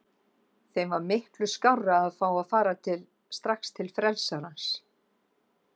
Þeim var miklu skárra að fá að fara strax til frelsarans.